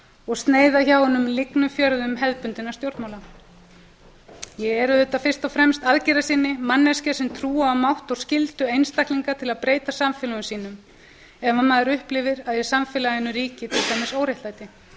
og sneiða hjá hinum lygnu fjörðum hefðbundinna stjórnmála ég er auðvitað fyrst og fremst aðgerðasinni manneskja sem trúi á mátt og skyldu einstaklinga til að breyta samfélögum sínum ef maður upplifir að í samfélaginu ríki til dæmis óréttlæti en það